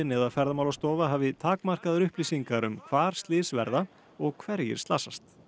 eða Ferðamálastofa hafi takmarkaðar upplýsingar um hvar slys verða og hverjir slasast